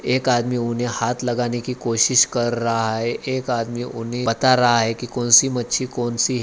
एक आदमी उन्हें हाथ लगाने की कोशिश कर रहा है एक आदमी उन्हें बता रहा है की कौनसी मच्छी कौनसी है।